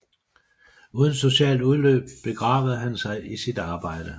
Uden socialt udløb begravede han sig i sit arbejde